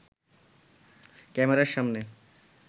ক্যামেরার সামনে